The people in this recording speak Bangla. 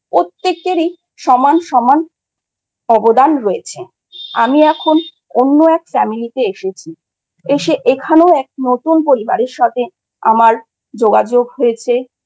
প্রত্যেকেরই সমান সমান অবদান রয়েছে। আমি এখন অন্য এক Family তে এসেছি। এসে এখানে এক নতুন পরিবারের সাথে আমার যোগাযোগ হয়েছে